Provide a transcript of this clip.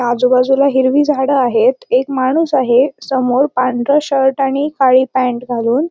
आजूबाजूला हिरवी झाड आहेत एक माणूस आहे समोर पांढरा शर्ट आणि काळी पॅन्ट घालून.